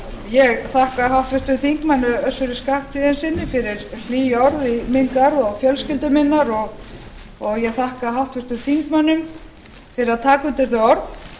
ég þakka háttvirtum þingmanni össuri skarphéðinssyni fyrir hlý orð í minn garð og fjölskyldu minnar og ég þakka háttvirtum þingmönnum fyrir að taka undir þau orð